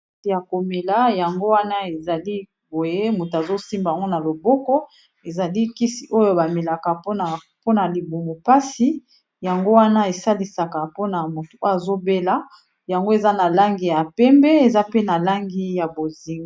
ate ya komela yango wana ezali boye moto azosimbango na loboko ezali kisi oyo bamelaka mpona libumo mpasi yango wana esalisaka mpona moto oyo azobela yango eza na langi ya pembe eza pe na langi ya bozing